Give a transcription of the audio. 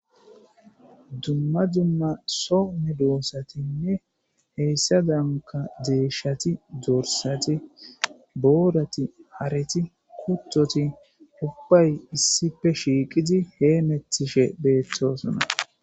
dumma dumma so medoossatinne heyssa danka deeshati dorsati boorati hareti kuttoti hupay issife shiiqidi heemetishe beettoosna